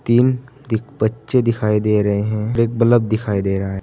तीन दीक बच्चे दिखाई दे रहे हैं और एक बलब दिखाई दे रहा है।